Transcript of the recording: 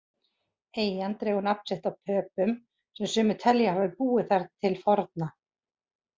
Eyjan dregur nafn sitt af Pöpum sem sumir telja að hafa búið þar til forna.